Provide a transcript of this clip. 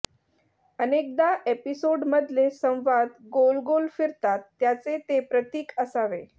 अनेकदा एपिसोड मधले संवाद गोल गोल फिरतात त्याचे ते प्रतीक असावे